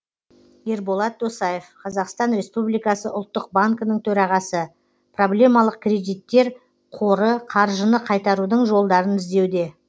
ерболат досаев қазақстан республикасы ұлттық банкінің төрағасы проблемалық кредиттер қоры қаржыны қайтарудың жолдарын іздеуде